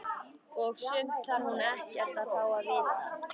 Og sumt þarf hún ekkert að fá að vita.